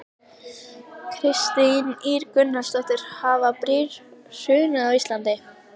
Kristín Ýr Gunnarsdóttir: Hafa brýr hrunið á Íslandi?